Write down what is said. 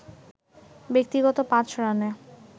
ব্যক্তিগত ৫ রানে